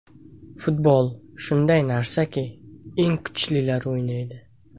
Futbol shunday narsaki eng kuchlilar o‘ynaydi.